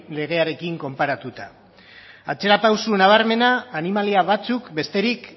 legearekin konparatuta atzera pausu nabarmena animalia batzuk besterik